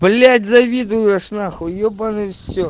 блять завидуешь нахуй ебаный все